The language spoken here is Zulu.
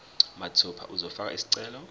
mathupha uzofaka isicelo